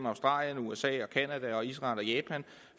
australien usa canada israel og japan